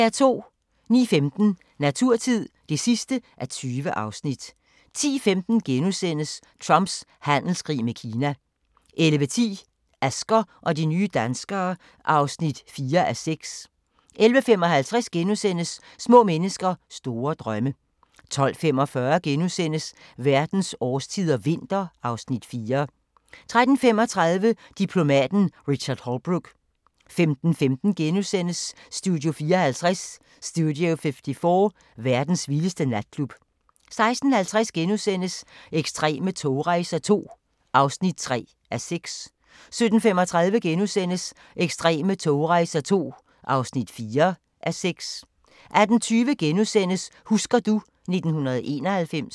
09:15: Naturtid (20:20) 10:15: Trumps handelskrig med Kina * 11:10: Asger og de nye danskere (4:6) 11:55: Små mennesker store drømme * 12:45: Verdens årstider – vinter (Afs. 4)* 13:35: Diplomaten Richard Holbrooke 15:15: Studio 54 – verdens vildeste natklub * 16:50: Ekstreme togrejser II (3:6)* 17:35: Ekstreme togrejser II (4:6)* 18:20: Husker du ... 1991 *